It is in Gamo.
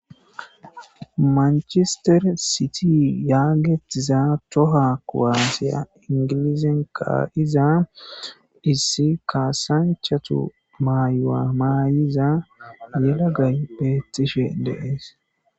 Mancister sity yagetiza tohuwa kuwase ingilizen ka'za issi kasanchatu mayuwa mayuza yelagay betishe de'es.